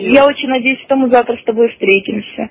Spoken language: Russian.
я очень надеюсь что мы завтра с тобой встретимся